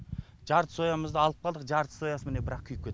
жарты соямызды алып қалдық жарты соясы міне бірақ күйіп кетті